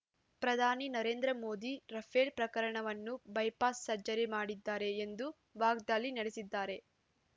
ಪ್ರಧಾನಿ ನರೇಂದ್ರ ಮೋದಿ ರಫೇಲ್ ಪ್ರಕರಣವನ್ನು bypass surgery ಮಾಡಿದ್ದಾರೆ ಎಂದು ವಾಗ್ದಾಳಿ ನಡೆಸಿದ್ದಾರೆ